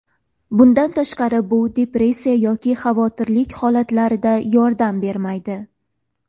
Bundan tashqari bu depressiya yoki xavotirlik holatlarida yordam bermaydi.